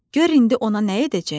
Gör indi ona nə edəcəyəm!